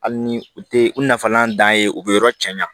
Hali ni u tɛ u nafalan dan ye u be yɔrɔ cɛ ɲa